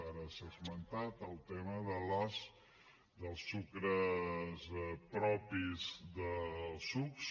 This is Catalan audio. ara s’ha esmentat el tema dels sucres propis dels sucs